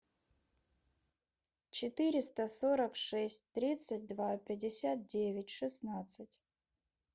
четыреста сорок шесть тридцать два пятьдесят девять шестнадцать